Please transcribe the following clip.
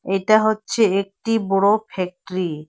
এটা হচ্ছে একটি বড় ফ্যাক্টরি ।